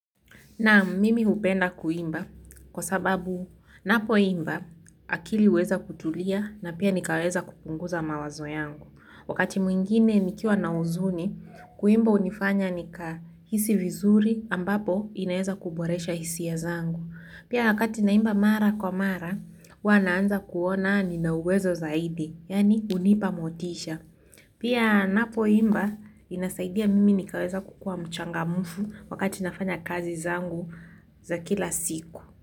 Naam mimi hupenda kuimba kwa sababu ninapoimba akili huweza kutulia na pia nikaweza kupunguza mawazo yangu. Wakati mwingine nikiwa na huzuni, kuimba hunifanya nikahisi vizuri ambapo inaweza kuboresha hisia zangu. Pia wakati naimba mara kwa mara, huwa naanza kuona nina uwezo zaidi, yaani hunipa motisha. Pia ninapoimba inasaidia mimi nikaweza kukuwa mchangamfu wakati nafanya kazi zangu za kila siku.